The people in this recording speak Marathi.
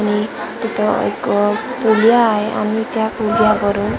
आणि तिथं एक अ पुलिया आहे आणि त्या पुलियावरून --